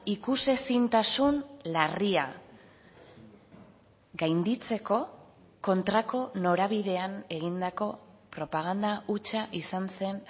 ikusezintasun larria gainditzeko kontrako norabidean egindako propaganda hutsa izan zen